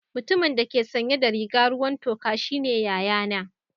Mutumin da ke sanye da riga ruwan toka shine yayana.